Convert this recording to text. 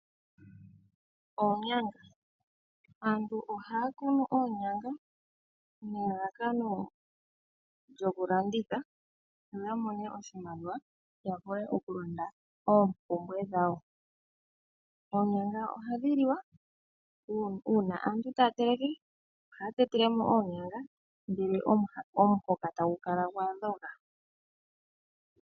Oonyanga aantu oha kunu oonyanga nelalakano lyoku landitha noya mone oshimaliwa yavule okulanda oompumbwe dhawo. Oonyanga ohadhi liwa uuna aantu ta teleke, oha tetelemo oonyanga, omuhoka tagu kala gwadhoga.